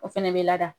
O fɛnɛ bɛ lada